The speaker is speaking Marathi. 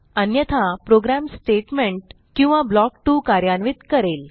अन्यथा प्रोग्रॅम स्टेटमेंट किंवा ब्लॉक 2 कार्यान्वित करेल